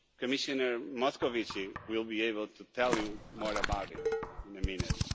Commissioner Moscovici will be able to tell you more about that in a minute.